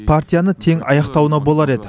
партияны тең аяқтауына болар еді